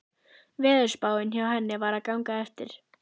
Veðurspáin hjá henni var að ganga eftir.